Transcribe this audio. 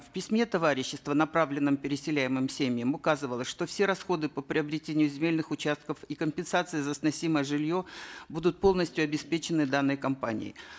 в письме товарищества направленном переселяемым семьям указывалось что все расходы по приобретению земельных участков и компенсации за сносимое жилье будут полностью обеспечены данной компанией